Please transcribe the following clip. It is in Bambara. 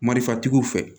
Marifatigiw fɛ